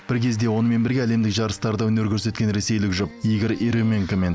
бір кезде онымен бірге әлемдік жарыстарда өнер көрсеткен ресейлік жұп игорь ерёменко мен